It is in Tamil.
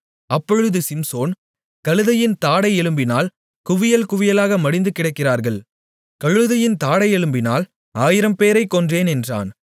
அப்பொழுது சிம்சோன் கழுதையின் தாடை எலும்பினால் குவியல் குவியலாக மடிந்து கிடக்கிறார்கள் கழுதையின் தாடையெலும்பினால் 1000 பேரைக் கொன்றேன் என்றான்